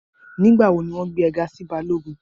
Nígbàwọ̀ ni wọn gbẹ̀ è ga sí bálọ́gùn?